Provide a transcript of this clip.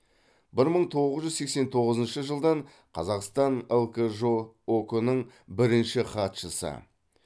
бір мың тоғыз жүз сексен тоғызыншы жылдан қазақстан лкжо ок нің бірінші хатшысы